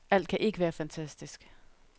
Alt kan ikke være fantastisk.